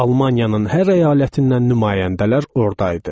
Almaniyanın hər əyalətindən nümayəndələr ordaydı.